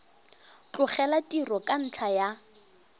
tlogela tiro ka ntlha ya